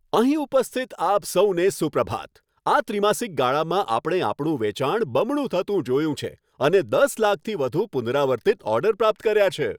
અહીં ઉપસ્થિત આપ સૌને સુપ્રભાત. આ ત્રિમાસિક ગાળામાં આપણે આપણું વેચાણ બમણું થતું જોયું છે અને દસ લાખથી વધુ પુનરાવર્તિત ઓર્ડર પ્રાપ્ત કર્યા છે.